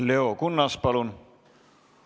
Leo Kunnas, palun!